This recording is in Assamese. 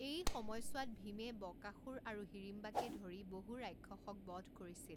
এই সময়ছোৱাত ভীমে বকাসুৰ আৰু হিড়িম্বাকে ধৰি বহু ৰাক্ষসক বধ কৰিছিল।